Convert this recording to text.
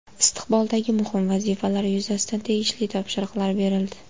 Istiqboldagi muhim vazifalar yuzasidan tegishli topshiriqlar berildi.